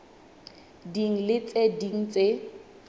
ding le tse ding tse